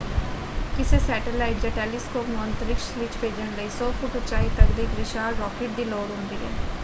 ਕਿਸੇ ਸੈਟੇਲਾਈਟ ਜਾਂ ਟੈਲੀਸਕੋਪ ਨੂੰ ਅੰਤਰਿਕਸ਼ ਵਿੱਚ ਭੇਜਣ ਲਈ 100 ਫੁੱਟ ਉੱਚਾਈ ਤੱਕ ਦੇ ਇੱਕ ਵਿਸ਼ਾਲ ਰਾਕੇਟ ਦੀ ਲੋੜ ਹੁੰਦੀ ਹੈ।